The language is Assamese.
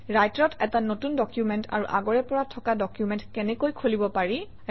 ৰাইটাৰত এটা নতুন ডকুমেণ্ট আৰু আগৰে পৰা থকা ডকুমেণ্ট কেনেকৈ খুলিব পাৰি